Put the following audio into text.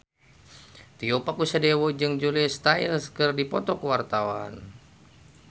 Tio Pakusadewo jeung Julia Stiles keur dipoto ku wartawan